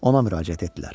Ona müraciət etdilər.